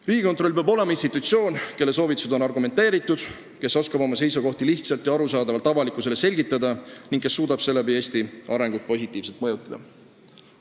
Riigikontroll peab olema institutsioon, kelle soovitused on argumenteeritud, kes oskab oma seisukohti lihtsalt ja arusaadavalt avalikkusele selgitada ning suudab seeläbi Eesti riigi arengut positiivselt mõjutada.